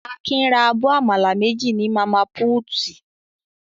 Akin ra abọ́ àmàlà méjì ní màmá púútì.